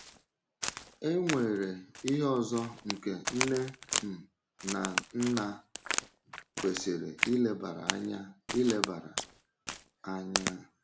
E nwere ihe ọzọ nke nne um na nna kwesịrị ilebara anya. ilebara anya.